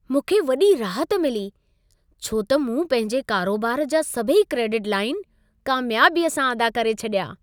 मूंखे वॾी राहत मिली छो त मूं पंहिंजे कारोबार जा सभई क्रेडिट लाइन कामियाबीअ सां अदा करे छॾिया।